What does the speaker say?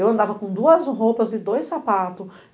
Eu andava com duas roupas e dois sapatos.